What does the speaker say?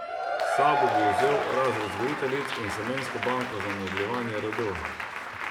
S sabo bi vzel razred vzgojiteljic in semensko banko za nadaljevanje rodu.